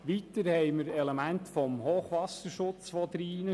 Weiter spielen Elemente des Hochwasserschutzes hinein.